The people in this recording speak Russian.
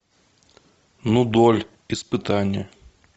нудоль испытание